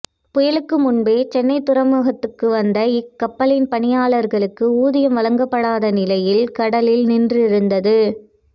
புயலுக்கு முன்பே சென்னை துறைமுகத்துக்கு வந்த இக்கப்பலின் பணியாளர்களுக்கு ஊதியம் வழங்கப்படாத நிலையில் கடலில் நின்றிருந்தது